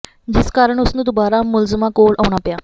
ਜਿਸ ਕਾਰਨ ਉਸ ਨੂੰ ਦੁਬਾਰਾ ਮੁਲਜ਼ਮਾਂ ਕੋਲ ਆਉਣਾ ਪਿਆ